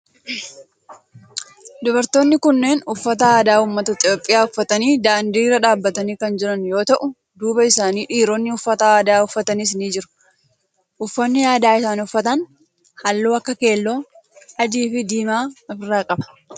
Dubartoonni kunneen uffata aadaa ummata Itiyoophiyaa uffatanii daandii irra dhaabbatanii kan jiran yoo ta'u duuba isaanii dhiiroonni uffata aadaa uffatanis ni jiru. uffanni aadaa isaan uffatan halluu akka keelloo, adii fi diimaa of irraa qaba.